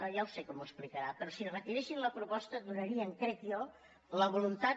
ja ho sé que m’ho explicarà però si retiressin la proposta donarien crec jo la voluntat